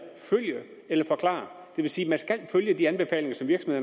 følg eller forklar det vil sige